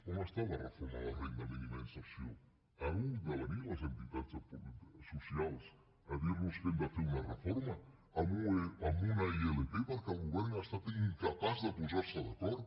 on està la reforma de la renda mínima d’inserció han hagut de venir les entitats socials a dir nos que hem de fer una reforma amb una ilp perquè el govern ha estat incapaç de posar se d’acord